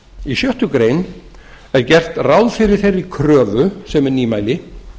í sjöttu grein er gert ráð fyrir þeirri kröfu sem er nýmæli